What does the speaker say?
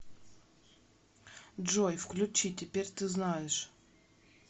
джой включи теперь ты знаешь